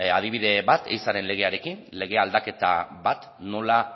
adibide bat ehizaren legearekin lege aldaketa bat nola